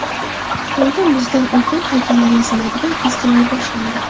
Xitoyda muzdan ulkan haykallar yasaladigan festival boshlandi .